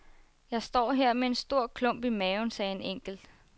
Jeg står her med en stor klump i maven, sagde en enkelt.